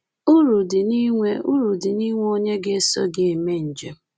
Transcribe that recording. Uru dị n’inwe Uru dị n’inwe onye ga-eso gị eme njem